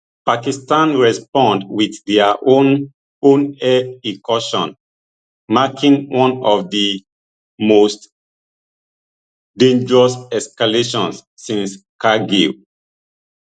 pakistan respond wit dia own own air incursions marking one of di most dangerous escalations since kargil